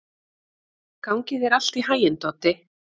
Gangi þér allt í haginn, Doddi.